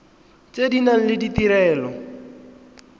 tse di nang le ditirelo